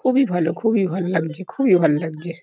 খুবই ভালো। খুবই ভাল লাগছে। খুবই ভাল লাগছে।